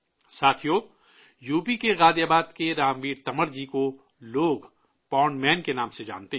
ساتھیو، یوپی کے غازی آباد کے رام ویر تنور جی کو لوگ 'پانڈ مین' کے نام سے جانتے ہیں